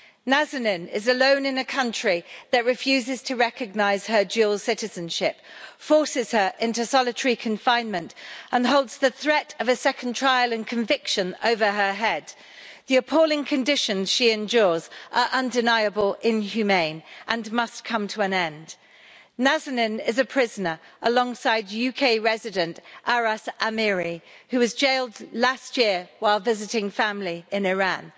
Nazanin is alone in a country that refuses to recognise her dual citizenship, forces her into solitary confinement and holds the threat of a second trial and conviction over her head. The appalling conditions she endures are undeniably inhumane and must come to an end. Nazanin is a prisoner alongside UK resident Aras Amiri, who was jailed last year while visiting family in Iran,